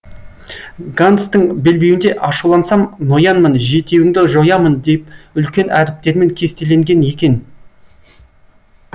ганстің белбеуінде ашулансам ноянмын жетеуіңді жоямын деп үлкен әріптермен кестеленген екен